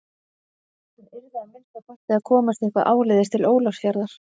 Hann yrði að minnsta kosti að komast eitthvað áleiðis til Ólafsfjarðar.